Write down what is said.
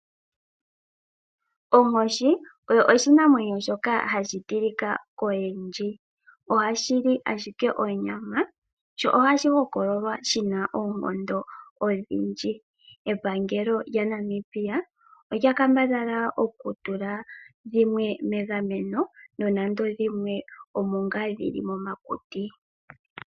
Onkoshi oyo oshinamwenyo shoka hashi tilika koyendji. Ohashi li ashike onyama sho ohashi hokololwa shi na oonkondo odhindji. Epangelo lyaNamibia olya kambadhala okutula dhimwe megameno nonando dhimwe omo ngaa dhi li momakuti.